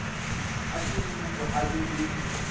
a semmupo a be le